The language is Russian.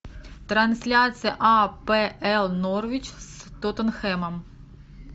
трансляция апл норвич с тоттенхэмом